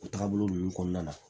O taabolo ninnu kɔnɔna na